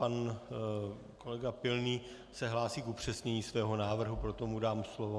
Pan kolega Pilný se hlásí k upřesnění svého návrhu, proto mu dám slovo.